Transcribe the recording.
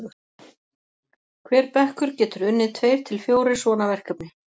hver bekkur getur unnið tveir til fjórir svona verkefni